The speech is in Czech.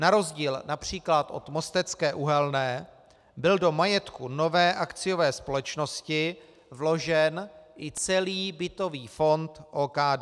Na rozdíl například od Mostecké uhelné byl do majetku nové akciové společnosti vložen i celý bytový fond OKD.